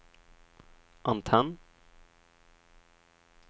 antenn